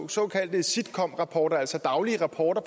såkaldte sitrep rapporter altså daglige rapporter